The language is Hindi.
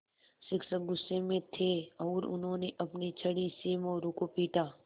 शिक्षक गुस्से में थे और उन्होंने अपनी छड़ी से मोरू को पीटा